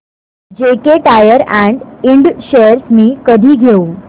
JK tyre and ind shares मी कधी घेऊ